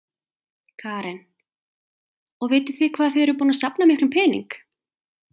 Karen: Og vitið þið hvað þið eruð búnar að safna miklum pening?